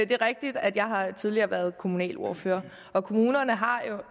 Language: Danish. det er rigtigt at jeg tidligere har været kommunalordfører og kommunerne har jo